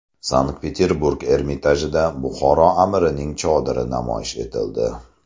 Sankt-Peterburg Ermitajida Buxoro amirining chodiri namoyish etildi.